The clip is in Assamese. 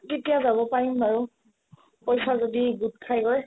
তেতিয়া যাব পাৰিম বাৰু পইচা যদি গোট খাইগৈ